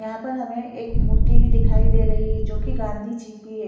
यहां पर हमें एक मूर्ति भी दिखाई दे रही है जो कि गांधी जी की है।